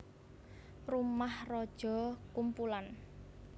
Rumah Raja kumpulan